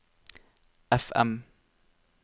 FM